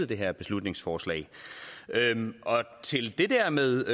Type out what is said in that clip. det her beslutningsforslag til det der med